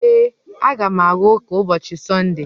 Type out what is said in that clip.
Ee, a ga m aga ụka ụbọchị Sọnde